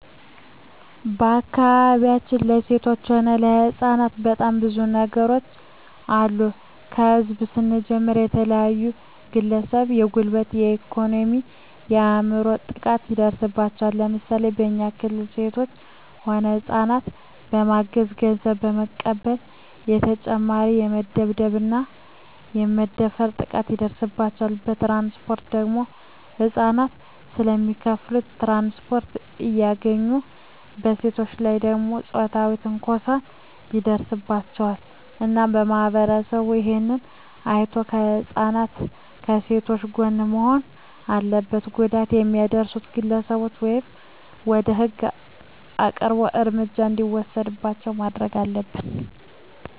በአካባቢያችን ለሴቶች ሆነ ለህጻናት በጣም ብዙ ነገሮች አሉ ከህዝብ ስንጀምር የተለያዩ ግለሰቦች የጉልበት የኤኮኖሚ የአይምሮ ጥቃት ይደርስባቸዋል ለምሳሌ በኛ ክልል ሴቶች ሆነ ህጻናትን በማገት ገንዘብ በመቀበል በተጨማሪ በመደብደብ እና በመድፈር ጥቃት ይደርስባቸዋል በትራንስፖርት ደግሞ ህጻናት ስለማይከፋሉ ትራንስፖርት አያገኙም በሴቶች ላይ ደግሞ ጾታዊ ትንኮሳዎች ይደርስባቸዋል እና ማህበረሰቡ እሄን አይቶ ከህጻናት ከሴቶች ጎን መሆን አለበት ጉዳት የሚያደርሱት ግለሰቦች ወደ ህግ አቅርቦ እርምጃ እንዲወሰድባቸው ማረግ አለብን